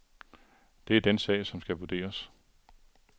Det er den sag, som skal vurderes.